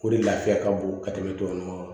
O de lafiya ka bon ka tɛmɛ tubabu nɔgɔ kan